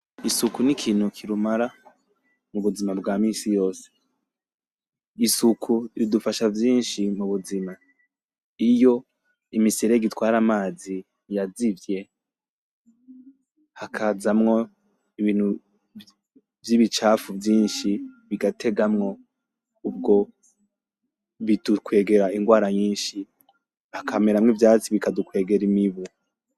Isuku n'ikintu kirumara mubuzima bwa misi yose .Isuku ridufasha vyinshi mubuzima .Iyo imiserege itwara amazi yazivye; hakazamwo Ibintu vy'ibicafu vyinshi ,bigategamwo ubwo bidukwegera ingwara nyinshi, hakameramwo ivyatsi bikadukwegera imibu.